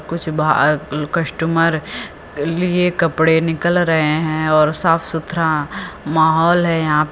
कुछ कस्टमर ले कपड़े निकल रहे हैं और साफ सुथरा माहौल है यहां पे।